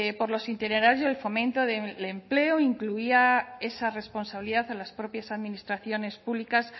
por los y el fomento del empleo incluía esa responsabilidad en las propias administraciones públicas